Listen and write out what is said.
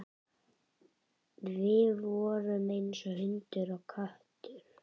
Við vorum eins og hundur og köttur.